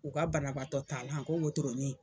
U ka banabaatɔ ta lan ko wotoronin.